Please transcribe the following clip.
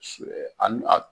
ani a